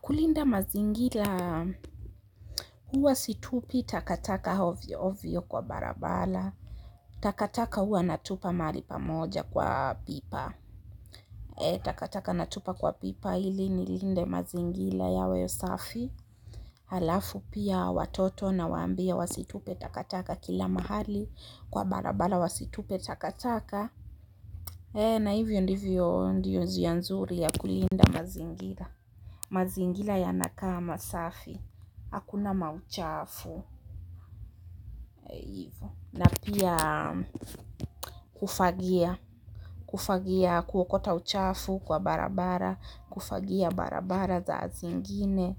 Kulinda mazingira huwa situpi takataka ovyo ovyo kwa barabara. Takataka huwa natupa mahali pamoja kwa pipa. Takataka natupa kwa pipa ili nilinde mazingira yawe safi. Halafu pia watoto nawaambia wasitupe takataka kila mahali kwa barabara wasitupe takataka. Na hivyo ndivyo ndio njia nzuri ya kulinda mazingira. Mazingira yanakaa masafi. Hakuna mauchafu eh hivo na pia kufagia kufagia kuokota uchafu kwa barabara. Kufagia barabara saa zingine